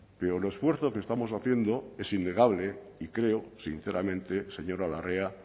pero el esfuerzo que estamos haciendo es innegable y creo sinceramente señora larrea